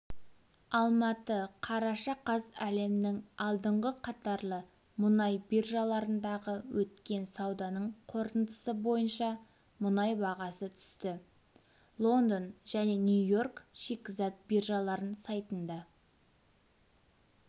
алматы қараша қаз әлемнің алдыңғы қатарлы мұнай биржаларындағы өткен сауданың қорытындысы бойынша мұнай бағасы түсті лондон және нью-йорк шикізат биржаларының сайтында